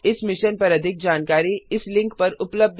इस मिशन पर अधिक जानकारी इस लिंक पर उपलब्ध है